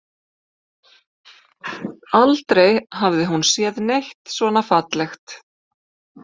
Aldrei hafði hún séð neitt svona fallegt.